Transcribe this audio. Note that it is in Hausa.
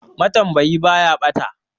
Matambayi baya ɓata.